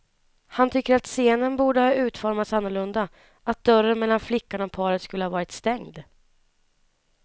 Han tycker att scenen borde ha utformats annorlunda, att dörren mellan flickan och paret skulle ha varit stängd.